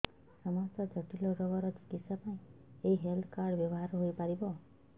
ସମସ୍ତ ଜଟିଳ ରୋଗର ଚିକିତ୍ସା ପାଇଁ ଏହି ହେଲ୍ଥ କାର୍ଡ ବ୍ୟବହାର ହୋଇପାରିବ